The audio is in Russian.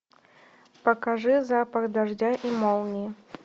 покажи запах дождя и молнии